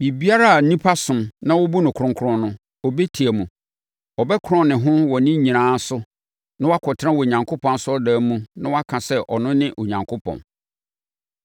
Biribiara a nnipa som na wɔbu no kronkron no, ɔbɛtia mu. Ɔbɛkorɔn ne ho wɔ ne nyinaa so na wakɔtena Onyankopɔn asɔredan mu na waka sɛ ɔno ne Onyankopɔn.